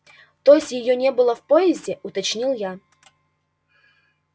то есть её не было в поезде уточнил я